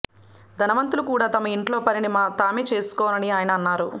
ధనవంతులు కూడా తమ ఇంట్లో పనిని తామే చేసుకోవాలని ఆయన అన్నారు